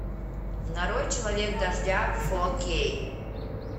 нарой человек дождя фор кей